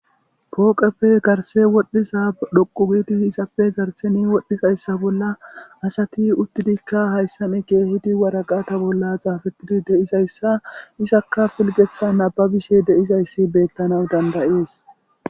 Pooqappe garissee wothtsa tsoqqou gidda hara garsseeni wothtsa issa bolla asati uuttidikka hayssani keeheeti woraqqata bolla tsaafettida dizsa issika be'ettees. Issika pilgeetha naababishe de'iza issa bettanaw dandayees.